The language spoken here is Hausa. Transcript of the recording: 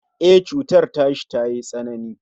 E, cutar tashi tayi tsanani